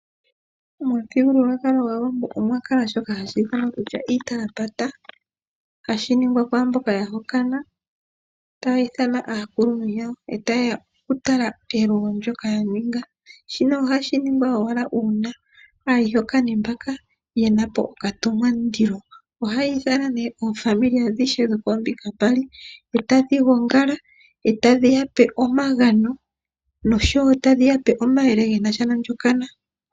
Momuthigululwakalo gwaawambo omwa kala shoka hashi ithanwa kutya iitalapata. Hashi ningwa kwaamboka ya hokana. Taya ithana aakuluntu yawo, e ta yeya oku tala elugo ndyoka ya ninga. Shino ohashi ningwa owala uuna aayihokani mbaka yena po okatumwam'ndilo. Ohayi ithana nee oofamili adhishe dhokombinga mbali ,e ta dhi gongala ,e ta dhi ya pe omagano nosho woo e ta dhi yape omayele ge nasha nondjokana.